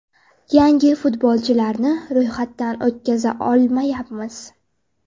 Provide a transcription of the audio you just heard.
Yangi futbolchilarni ro‘yxatdan o‘tkaza olmayapmiz?